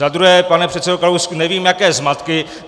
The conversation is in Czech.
Za druhé, pane předsedo Kalousku, nevím, jaké zmatky.